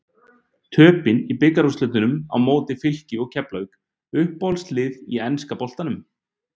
Töpin í bikarúrslitunum á móti Fylki og Keflavík Uppáhalds lið í enska boltanum?